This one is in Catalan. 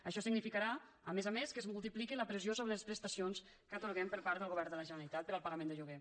això significarà a més a més que es multipliqui la pressió sobre les prestacions que atorguem per part del govern de la generalitat per al pagament de lloguer